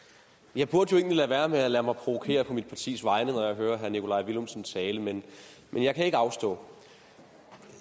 jeg burde jo egentlig lade være med at lade mig provokere på mit partis vegne når jeg hører herre nikolaj villumsens tale men jeg kan ikke afstå